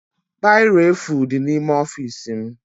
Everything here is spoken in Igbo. Biro efu dị n'ime ọfiisi m